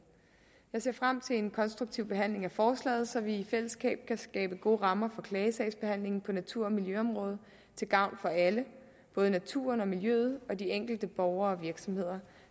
jeg ser frem til en konstruktiv behandling af forslaget så vi i fællesskab kan skabe gode rammer for klagesagsbehandlingen på natur og miljøområdet til gavn for alle både naturen og miljøet og de enkelte borgere og virksomheder